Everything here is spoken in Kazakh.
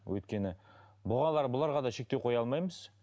өйткені бұларға да шектеу қоя алмаймыз